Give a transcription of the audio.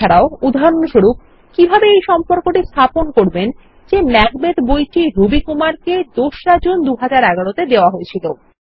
এছাড়াও উদাহরণস্বরূপ কিভাবে এই সম্পর্কটি স্থাপন করবেন যে ম্যাকবেথ বইটি রবি কুমার কে ২ রা জুন ২০১১ তে দেওয়া হয়েছিল